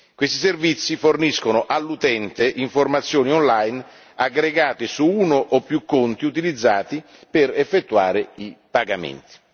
Questi servizi forniscono all'utente informazioni online aggregate su uno o più conti utilizzati per effettuare i pagamenti.